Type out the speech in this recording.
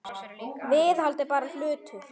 Viðhald er bara hlutur.